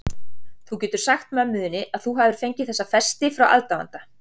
Þú getur sagt mömmu þinni að þú hafir fengið þessa festi frá aðdáanda.